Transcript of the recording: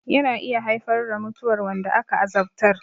Yana iya haifar da mutuwar wanda aka azabtar